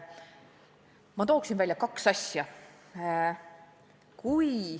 Ma tooksin välja kaks asja.